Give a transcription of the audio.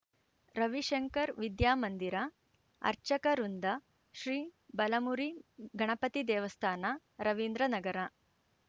ರವಿಶಂಕರ್‌ ವಿದ್ಯಾಮಂದಿರ ಅರ್ಚಕ ವೃಂದ ಶ್ರೀಬಲಮುರಿ ಗಣಪತಿ ದೇವಸ್ಥಾನ ರವೀಂದ್ರನಗರ